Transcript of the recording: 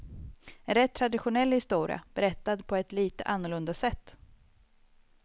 En rätt traditionell historia, berättad på ett lite annorlunda sätt.